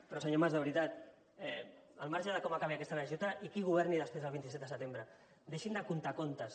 però senyor mas de veritat al marge de com acabi aquesta legislatura i qui governi després del vint set de setembre deixin de contar contes